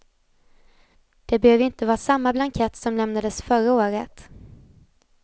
Det behöver inte vara samma blankett som lämnades förra året.